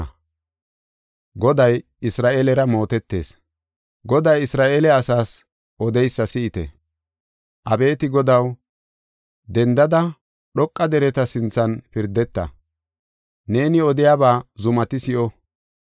Goday Isra7eele asaas odeysa si7ite. Abeeti Godaw, dendada dhoqa dereta sinthan pirdeta; neeni odiyaba zumati si7o.